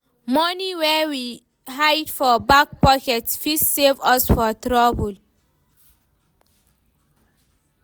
Money wey we hide for back pocket fit save us for trouble.